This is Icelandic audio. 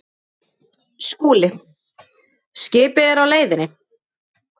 SKÚLI: Skipið er á leiðinni.